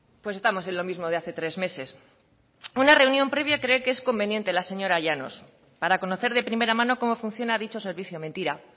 pues estamos en lo mismo de hace tres meses una reunión previa cree que es conveniente la señora llanos para conocer de primera mano cómo funciona dicho servicio mentira